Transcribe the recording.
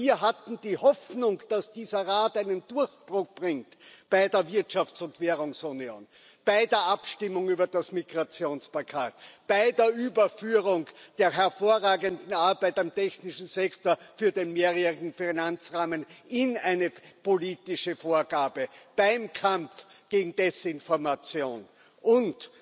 Wir hatten die Hoffnung, dass dieser Rat einen Durchbruch bringt bei der Wirtschafts und Währungsunion, bei der Abstimmung über das Migrationspaket, bei der Überführung der hervorragenden Arbeit auf dem technischen Sektor für den mehrjährigen Finanzrahmen in eine politische Vorgabe, beim Kampf gegen Desinformation und